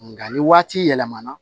Nka ni waati yɛlɛmana